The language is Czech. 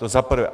To za prvé.